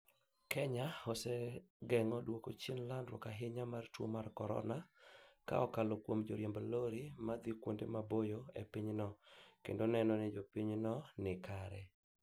Kenya osegeno duoko chien landruok ahinya mar tuo mar corona kaokalo kuom joriemb lorry ma dhi kuonde maboyo e pinyno kendo neno ni jopiny no nikare